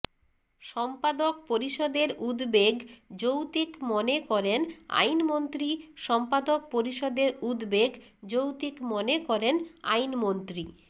সম্পাদক পরিষদের উদ্বেগ যৌক্তিক মনে করেন আইনমন্ত্রী সম্পাদক পরিষদের উদ্বেগ যৌক্তিক মনে করেন আইনমন্ত্রী